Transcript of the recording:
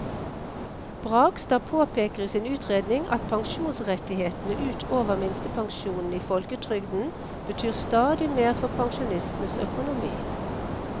Bragstad påpeker i sin utredning at pensjonsrettighetene ut over minstepensjonen i folketrygden betyr stadig mer for pensjonistenes økonomi.